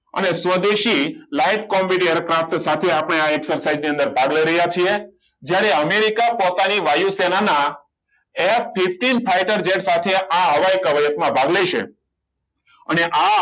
આને સ્વદેશી light combat aircraft સાથે આપણે આ exercise ની અંદર ભાગ લઈ રહ્યા છે જ્યારે અમેરિકા પોતાની વાયુ સેનાના F fifteen fighter jet સાથે આ હવાઈ કવાયતમાં ભાગ લેશે અને આ